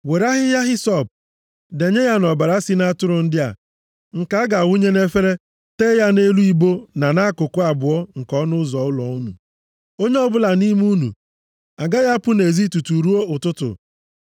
Were ahịhịa hisọp, denye ya nʼọbara si nʼatụrụ ndị a nke a ga-awụnye nʼefere, tee ya nʼelu ibo na nʼakụkụ abụọ nke ọnụ ụzọ ụlọ unu. Onye ọbụla nʼime unu agaghị apụ nʼezi tutu ruo ụtụtụ.